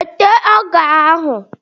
Weta ọja ahu!